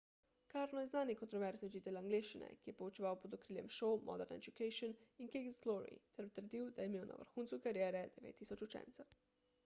karno je znani kontroverzni učitelj angleščine ki je poučeval pod okriljem šol modern education in king's glory ter trdil da je imel na vrhuncu kariere 9000 učencev